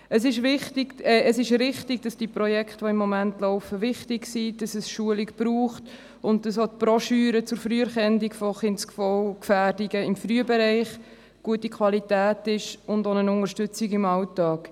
Es ist richtig, dass die Projekte, die im Moment laufen, wichtig sind, dass es Schulung braucht und dass auch die Broschüren zur Früherkennung von Kindeswohlgefährdungen im Frühbereich von guter Qualität ist und auch im Alltag Unterstützung bietet.